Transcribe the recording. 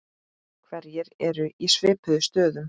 Hverjir eru í svipuðum stöðum?